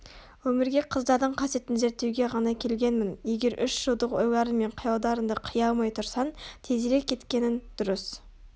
Өмірге қыздардың қасиетін зерттеуге ғана келгенмін егер үш жылдық ойларың мен қиялдарыңды қия алмай тұрсаң тезірек кеткенің дұрыс